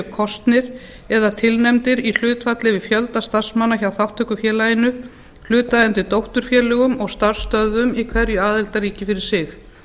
kosnir eða tilnefndir í hlutfalli við fjölda starfsmanna hjá þátttökufélögum hlutaðeigandi dótturfélögum og starfsstöðvum í hverju aðildarríki fyrir sig